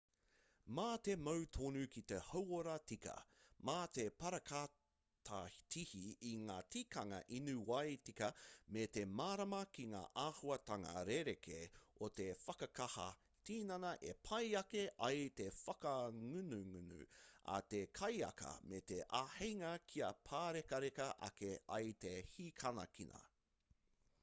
mā te mau tonu ki te hauora tika mā te parakatihi i ngā tikanga inu wai tika me te mārama ki ngā āhuatanga rerekē o te whakakaha tinana e pai ake ai te whakangungu a te kaiaka me te āheinga kia pārekareka ake ai te hākinakina